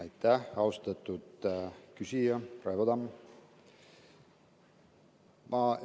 Aitäh, austatud küsija Raivo Tamm!